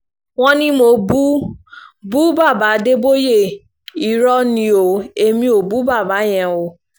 wọ́n ní mo bú bú bàbá adéboye irọ́ ni o èmí ò bú bàbá yẹn o